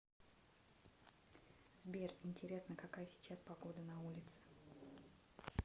сбер интересно какая сейчас погода на улице